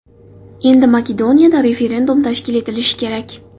Endi Makedoniyada referendum tashkil etilishi kerak.